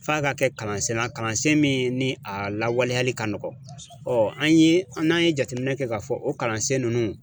F'a ka kɛ kalansen na kalansen min ni a lawaleyali ka nɔgɔn an ye an ye jateminɛ kɛ k'a fɔ o kalansen ninnu